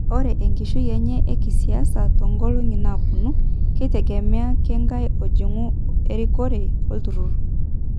Ore enkishui enye ekisiasa tonkolongi naponu keitegemea kengae ojung erikore olturur.